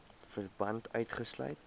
verband gesluit